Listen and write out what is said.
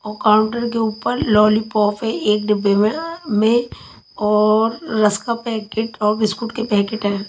और काउंटर के ऊपर लॉलीपॉप एक डिब्बे में अ में और रस्क का पैकेट और बिस्कुट का पैकेट है।